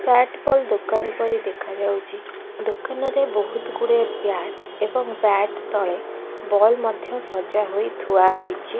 Bat ball ball ଦୋକାନ ପରି ଦେଖାଯାଉଛି ଦୋକାନରେ ବହୁତ ଗୁଡାଏ ବ୍ୟାଟ ଏବଂ ବ୍ୟାଟ ତଳେ ବଲ ମଧ୍ୟ ସଜା ହେଇ ଥୁଆହେଇଛି ।